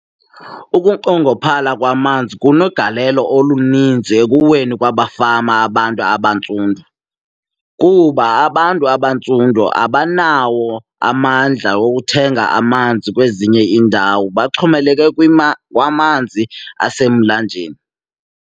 Ukunqongophala kwamanzi kunegalelo oluninzi ekuweni kwamafama abantu abantsundu kuba abantu abantsundu abanawo amandla wokuthenga amanzi kwezinye iindawo, baxhomeleke kwamanzi asemlanjeni.